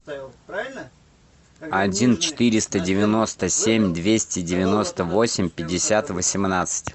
один четыреста девяносто семь двести девяносто восемь пятьдесят восемнадцать